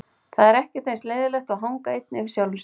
Það er ekkert eins leiðinlegt og að hanga einn yfir sjálfum sér.